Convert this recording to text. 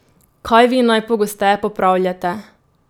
Kaj vi najpogosteje popravljate?